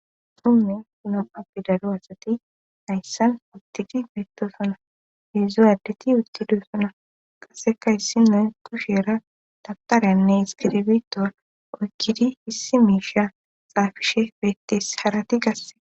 Hume kunam'apbi daro asati hayssan uttidi beetto sona heedzu addeti uttido sona qaseka issinay kusheera tabparyanne iskirbito oykkidi hissi miisha xaafishe peettes harati gasse.